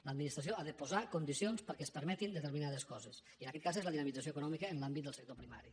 l’administració ha de posar condicions perquè es permetin determinades coses i en aquest cas és la dinamització econòmica en l’àmbit del sector primari